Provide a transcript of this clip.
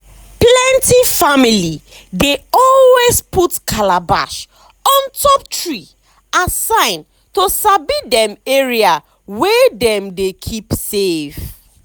plenty family dey always put calabash on top tree as sign to sabi dem area wey dem dey keep safe.